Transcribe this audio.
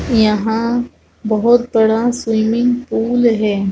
यहां बहुत बड़ा स्विमिंग पूल है।